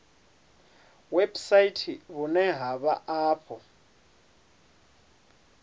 website vhune ha vha afho